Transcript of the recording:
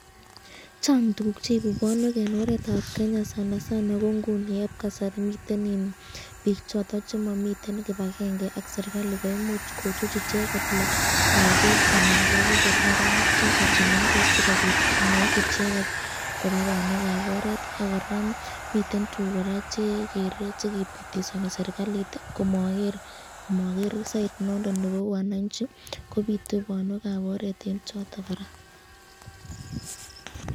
Chang tukuk cheibu bonwek en oretab Kenya sana sana ko ng'uni eb kasari miten biik choton chemomiten kibakenge ak kochuchut icheket lokok anan ko ak kot neranik choton chemeng'ech sikobiit kong'et icheket koba bonwe kaab oret ak kora komiten tukuk kora chekere chekibitisoni serikalit komoker side noton nebo wananchi kobitu bonwekab oret en choton kora.